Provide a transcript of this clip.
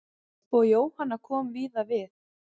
Og Jóhanna kom víða við.